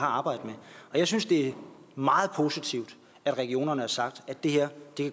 arbejde med jeg synes det er meget positivt at regionerne har sagt at det her